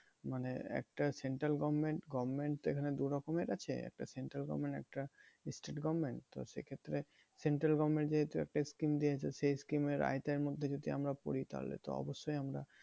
মানে একটা central government government তো এখানে দু রকমের আছে, একটা central government একটা state government. তো সেক্ষেত্রে central government যেহেতু একটা scheme দিয়েছে সেই scheme এর আওতায় মধ্যে যদি আমরা পড়ি, তাহলে তো অবশ্যই আমরা